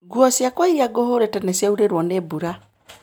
Nguo ciakwa irĩa ngũhũrĩte nĩciaurĩrwo nĩ mbura